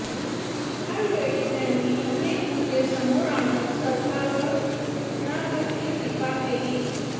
यावेळी त्यांनी अनेक मुद्दे समोर आणत सरकारवर घणाघाती टीका केली